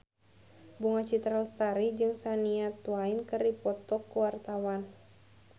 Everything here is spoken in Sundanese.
Bunga Citra Lestari jeung Shania Twain keur dipoto ku wartawan